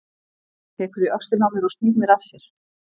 Hann tekur í öxlina á mér og snýr mér að sér.